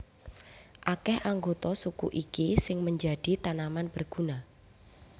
Akèh anggota suku iki sing menjadi tanaman berguna